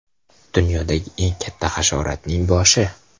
Dunyodagi eng katta hasharotning boshi.